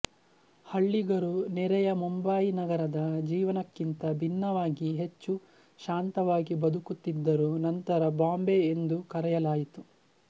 ಹಳ್ಳಿಗರು ನೆರೆಯ ಮುಂಬಯಿ ನಗರದ ಜೀವನಕ್ಕಿಂತ ಭಿನ್ನವಾಗಿ ಹೆಚ್ಚು ಶಾಂತವಾಗಿ ಬದುಕುತ್ತಿದ್ದರು ನಂತರ ಬಾಂಬೆ ಎಂದು ಕರೆಯಲಾಯಿತು